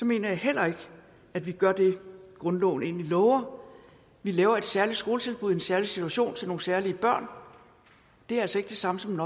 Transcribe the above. mener jeg heller ikke at vi gør det grundloven egentlig lover vi laver et særligt skoletilbud en særlig situation til nogle særlige børn det er altså ikke det samme som